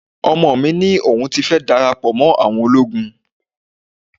Ọmọ mi ní òun fẹ́ dara pọ̀ mọ́ àwọn ológun